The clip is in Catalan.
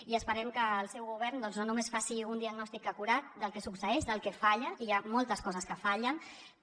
i esperem que el seu govern no només faci un diagnòstic acurat del que succeeix del que falla i hi ha moltes coses que fallen